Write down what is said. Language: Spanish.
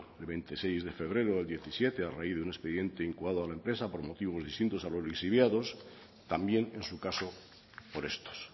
el veintiséis de febrero del diecisiete a raíz de un expediente incoado a la empresa por motivos distintos a los lixiviados también en su caso por estos